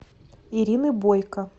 ирины бойко